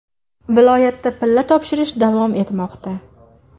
Viloyatda pilla topshirish davom etmoqda.